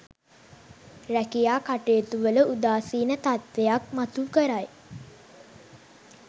රැකියා කටයුතුවල උදාසීන තත්ත්වයක් මතු කරයි.